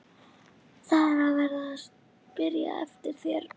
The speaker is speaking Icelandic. ÞAÐ ER VERIÐ AÐ SPYRJA EFTIR ÞÉR!